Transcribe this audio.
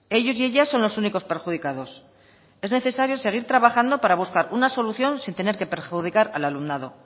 ellos y ellas son los únicos perjudicados es necesario seguir trabajando para buscar una solución sin tener que perjudicar al alumnado